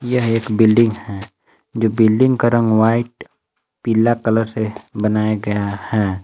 यह एक बिल्डिंग है जो बिल्डिंग का रंग व्हाइट पीला कलर से बनाया गया है।